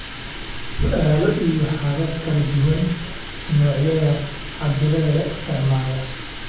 Su'aalo iyo habab kala duwan, noocyada cabbirada la isticmaalo